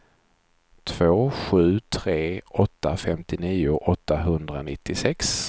två sju tre åtta femtionio åttahundranittiosex